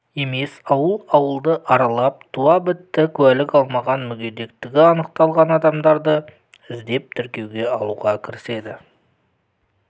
емес ауыл ауылды аралап туа бітті куәлік алмаған мүгедектігі анықталмаған адамдарды іздеп тіркеуге алуға кіріседі